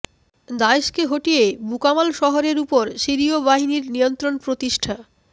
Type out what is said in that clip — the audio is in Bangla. দায়েশকে হটিয়ে বুকামাল শহরের ওপর সিরিয় বাহিনীর নিয়ন্ত্রণ প্রতিষ্ঠা